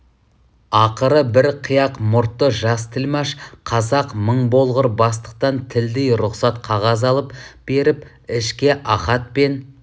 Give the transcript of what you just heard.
ақыры бір қияқ мұртты жас тілмаш қазақ мың болғыр бастықтан тілдей рұқсат қағаз алып беріп ішке ахат пен